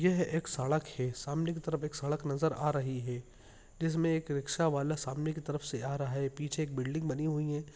एक सड़क है सामने की तरफ एक सड़क नज़र आ रही हे जिसमे एक रिक्शा वाला सामने की तरफ से आ रहा है पीछे एक बिल्डिंग बनी हुई हैं।